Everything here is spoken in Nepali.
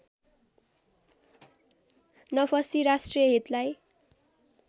नफसी राष्ट्रिय हितलाई